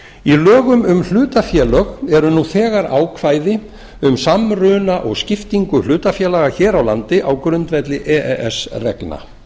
í lögum um hlutafélög eru nú þegar ákvæði um samruna og skiptingu hlutafélaga hér á landi á grundvelli e e s reglna